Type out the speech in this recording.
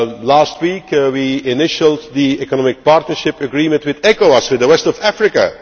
Last week we initialled the economic partnership agreement with ECOWAS, with the West of Africa.